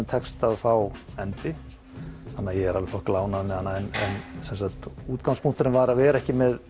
tekst að fá endi þannig að ég er alveg þokkalega ánægður með hana en sem sagt var að vera ekki með